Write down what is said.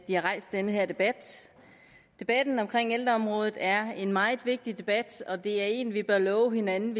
har rejst den her debat debatten om ældreområdet er en meget vigtig debat og det er en vi bør love hinanden